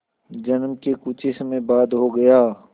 जन्म के कुछ ही समय बाद हो गया